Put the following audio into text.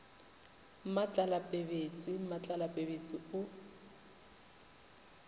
mmatlala pebetse mmatlala pebetse o